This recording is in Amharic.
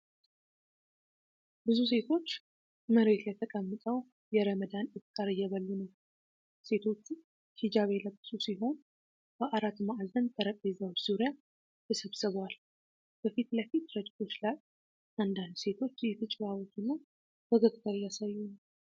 ብዙ ሴቶች መሬት ላይ ተቀምጠው የረመዳን ኢፍጣር እየበሉ ነው። ሴቶቹ ሂጃብ የለበሱ ሲሆን በአራት ማዕዘን ጠረጴዛዎች ዙሪያ ተሰብስበዋል። በፊት ለፊት ረድፎች ላይ አንዳንድ ሴቶች እየተጨዋወቱና ፈገግታ እያሳዩ ነው።